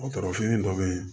Dɔgɔtɔrɔ fini dɔ be yen